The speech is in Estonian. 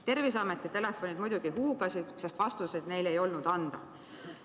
Terviseameti telefonid muidugi huugasid, sest vastuseid neil ei olnud anda.